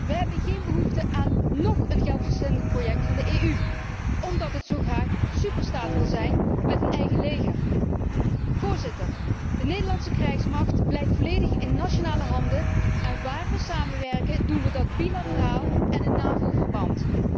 Wij hebben geen behoefte aan nóg een geldverslindend project van de EU, omdat het zo graag superstaat wil zijn met een eigen leger. De Nederlandse krijgsmacht blijft volledig in nationale handen en waar wij samenwerken, doen wij dat bilateraal en in NAVO verband.